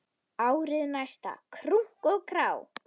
Árið næsta, krunk og krá!